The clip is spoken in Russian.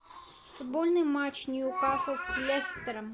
футбольный матч ньюкасл с лестером